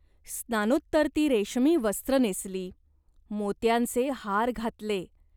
स्नानोत्तर ती रेशमी वस्त्र नेसली. मोत्यांचे हार धातले.